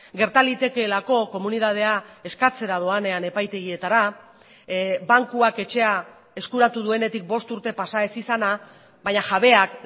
gerta litekeelako komunitatea eskatzera doanean epaitegietara bankuak etxea eskuratu duenetik bost urte pasa ez izana baina jabeak